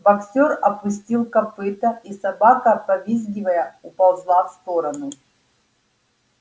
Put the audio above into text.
боксёр опустил копыто и собака повизгивая уползла в сторону